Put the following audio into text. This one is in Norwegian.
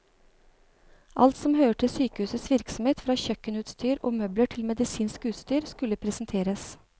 Alt som hører til sykehusets virksomhet, fra kjøkkenutstyr og møbler til medisinsk utstyr, skulle presenteres.